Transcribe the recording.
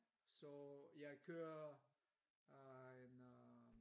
så jeg kører øh en øh